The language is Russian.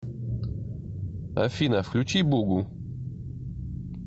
афина включи бугу